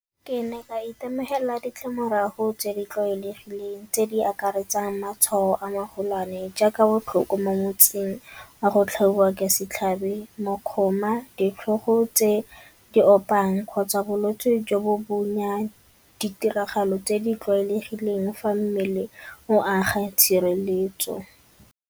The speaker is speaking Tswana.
Ke ne ka itemogela ditlamorago tse di tlwaelegileng tse di akaretsang matshwao a magolwane jaaka botlhoko mo metsing a go tlhatlhobiwa ka setlhabi, mokgoma, ditlhogo tse di opang kgotsa bolwetse jo bo bonya ditiragalo tse di tlwaelegileng fa mmele o aga tshireletso.